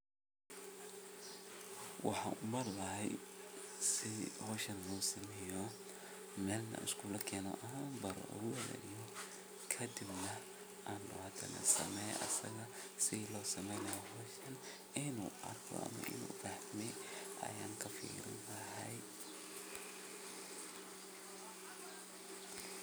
shegan waa qaro qaraahasoo waxaa loo beera dhul aad iyo aad ufican caradiisa nah ay fican tahay carra qoyaan leh waxaa nah waxaan loga helaa dhulkaasi jubooyinka hoose ama shabeelada iyo dhulalka somaalida